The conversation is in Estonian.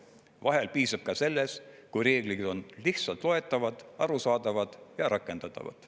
Vahel piisab ka sellest, kui reeglid on lihtsalt loetavad, arusaadavad ja rakendatavad.